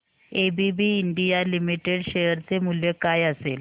ABB India limited share चे मूल्य काय असेल